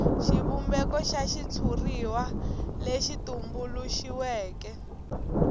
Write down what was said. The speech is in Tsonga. xivumbeko xa xitshuriwa lexi tumbuluxiweke